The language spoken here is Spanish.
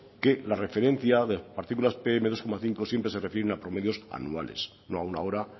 que la referencia de las particular pm dos coma cinco siempre se refieren a promedios anuales no a una hora